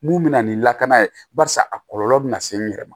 Mun bɛ na ni lakana ye barisa a kɔlɔlɔ bɛna se n yɛrɛ ma